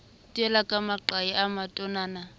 teile ka maqai a matonana